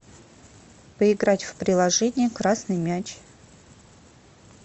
поиграть в приложение красный мяч